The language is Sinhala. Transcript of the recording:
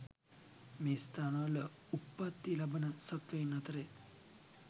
මේ ස්ථානවල උප්පත්ති ලබන සත්වයින් අතරෙන්